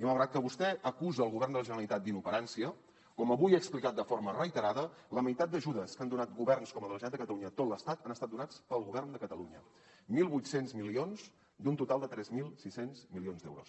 i malgrat que vostè acusa el govern de la generalitat d’inoperància com avui he explicat de forma reiterada la meitat d’ajudes que han donat governs com el de la generalitat de catalunya a tot l’estat han estat donats pel govern de catalunya mil vuit cents milions d’un total de tres mil sis cents milions d’euros